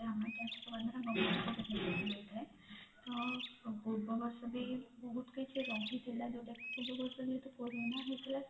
ଆମେ tax ଦବା ଦ୍ଵାରା government କୁ ଥାଏ ତ ପୂର୍ବ ବର୍ଷ ବି ବହୁତ କିଛି ରହିଥିଲା ଯୋଉଟା ପୂର୍ବ ବର୍ଷ ଯେହେତୁ କୋରୋନା ହେଇଥୋଲା